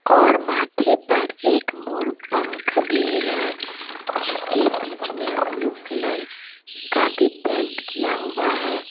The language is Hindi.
और माथे पर एक मोर पँख भी है जिसके बीच में ब्लू कलर का भी पेंट किया हुआ है।